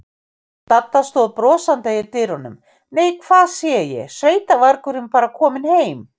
Dadda stóð brosandi í dyrunum: Nei, hvað sé ég, sveitavargurinn bara kominn heim.